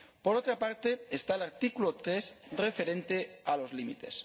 Por otra parte, está el artículo 3, referente a los límites.